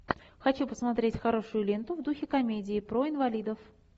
хочу посмотреть хорошую ленту в духе комедии про инвалидов